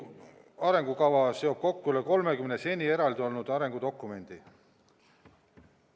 Arengukava seob kokku üle 30 seni eraldi olnud arengudokumendi.